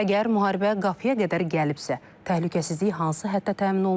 Əgər müharibə qapıya qədər gəlibsə, təhlükəsizlik hansı həddə təmin olunur?